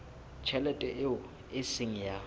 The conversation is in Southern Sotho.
tjhelete eo e seng ya